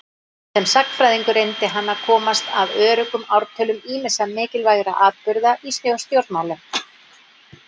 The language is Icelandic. Sem sagnfræðingur reyndi hann að komast að öruggum ártölum ýmissa mikilvægra atburða í stjórnmálum.